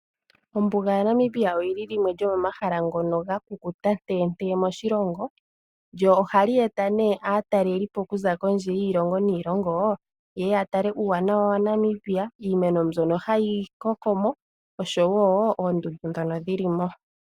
Ombuga yaNamibia oyi li limwe lyomomahala ngono ga kukuta tentee moshilongo, lyo ohali eta nduno aatalelipo okuza kondje yiilongo niilongo ye ye ya tale uuwanawa waNamibia, iimeno mbyono hayi koko mo, oshowo oondundu ndhono dhi li mo.